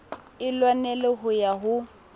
e lwanela ho ya ho